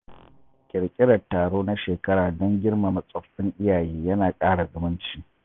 Ƙirƙirar taro na shekara don girmama tsoffin iyaye yana ƙara zumunci.